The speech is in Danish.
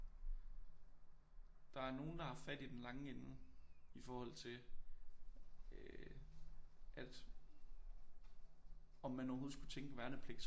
Der er nogen der har fat i den lange ende i forhold til øh at om man overhovedet skulle tænke værnepligt som